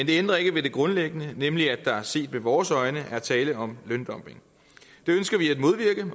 det ændrer ikke ved det grundlæggende nemlig at der set med vores øjne er tale om løndumping